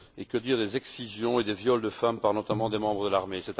Et que dire des excisions et des viols de femmes par, notamment, des membres des l'armée.